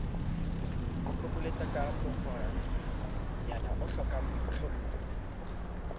phopholetsaka ka mokgwanyana o hlokangboitlhompho